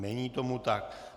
Není tomu tak.